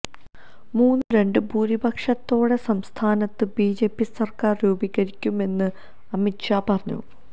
മൂന്നില് രണ്ട് ഭൂരിപക്ഷത്തോടെ സംസ്ഥാനത്ത് ബിജെപി സര്ക്കാര് രൂപീകരിക്കുമെന്ന് അമിത് ഷാ പറഞ്ഞു